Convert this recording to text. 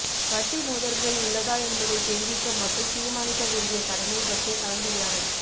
வட்டி மோதல்கள் உள்ளதா என்பதைத் தெரிவிக்க மற்றும் தீர்மானிக்க வேண்டிய கடமை பற்றிய கலந்துரையாடல்